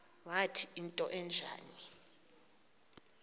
wathi into enjalo